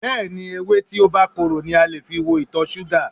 Bẹ́ẹ̀ni, ewé tí ó bá korò ni a lè fi wo ìtọ̀ṣúgà.